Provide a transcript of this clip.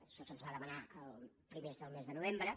això se’ns va demanar a primers del mes de novembre